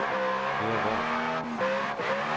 Per Worm